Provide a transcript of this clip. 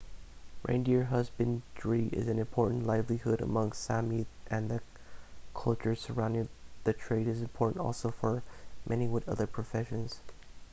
reindeer husbandry is an important livelihood among the sámi and the culture surrounding the trade is important also for many with other professions